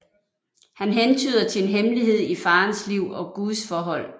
Han hentyder til en hemmelighed i faderens liv og gudsforhold